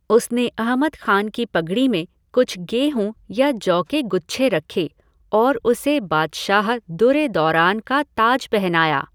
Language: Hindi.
उसने अहमद खान की पगड़ी में कुछ गेहूँ या जौ के गुच्छे रखे और उसे बादशाह दुर ए दौरान का ताज पहनाया।